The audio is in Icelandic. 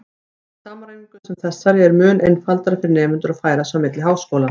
Með samræmingu sem þessari er mun einfaldara fyrir nemendur að færa sig á milli háskóla.